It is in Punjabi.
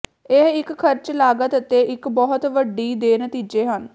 ਇਹ ਇੱਕ ਖਰਚ ਲਾਗਤ ਅਤੇ ਇੱਕ ਬਹੁਤ ਵੱਡੀ ਦੇ ਨਤੀਜੇ ਹਨ